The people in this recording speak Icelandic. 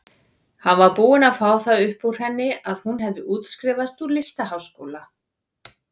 Hann var búinn að fá það upp úr henni að hún hefði útskrifast úr listaháskóla.